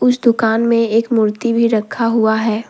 इस दुकान में एक मूर्ति भी रखा हुआ है।